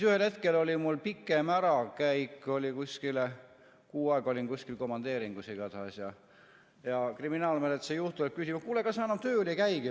Ühel hetkel oli mul pikem ärakäik kuskile, kuu aega olin kuskil komandeeringus igatahes, ja siis kriminaalmenetluse juht tuleb küsima, et kuule, kas sa enam tööl ei käigi.